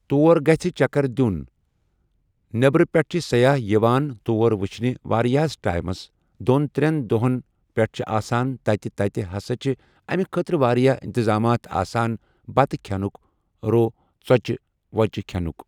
تور گژھِ چکر دِیُن نٮ۪برِ پٮ۪ٹھ چھِ سیاح یِوان تور وٕچھنہِ واریہس ٹایمس دۄن ترٛٮ۪ن دۄہن پٮ۪ٹھ چھِ آسان تتہِ تتہِ ہسا چھِ امہِ خٲطرٕ واریاہ انتظامات آسان بتہٕ کھٮ۪نُک رو ژۄچہِ وۄچہِ کھٮ۪نُک۔